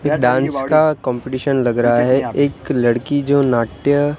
क्या डांस का कंपटीशन लग रहा है? एक लड़की जो नाट्य।